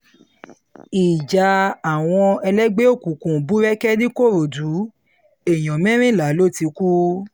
ìjà àwọn ẹlẹgbẹ́ àwọn ẹlẹgbẹ́ òkùnkùn búrẹ́kẹ́ nìkòròdú èèyàn mẹ́rìnlá ló ti kú